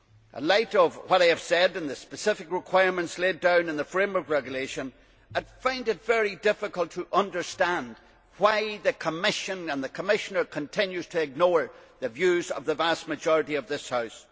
In light of what I have said and the specific requirements laid down in the framework regulation, I find it very difficult to understand why the Commission and the Commissioner continue to ignore the views of the vast majority of this House.